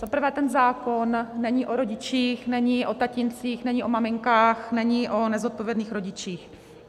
Za prvé, ten zákon není o rodičích, není o tatíncích, není o maminkách, není o nezodpovědných rodičích.